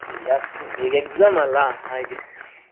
ಈಗ ಆಗ್ತಾ ಉಂಟು, ಈಗ exam ಅಲ್ಲ ಹಾಗೆ.